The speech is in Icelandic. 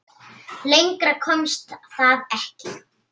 Lengra komst það ekki.